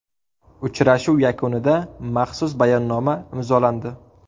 Uchrashuv yakunida maxsus bayonnoma imzolandi.